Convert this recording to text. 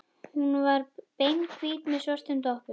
Hún var beinhvít með svörtum doppum.